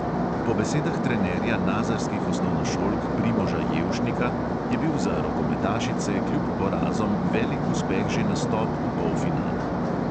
Po besedah trenerja nazarskih osnovnošolk primoža jelšnika je bil za rokometašice kljub porazom velik uspeh že nastop v polfinalu.